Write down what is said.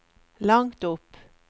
langt opp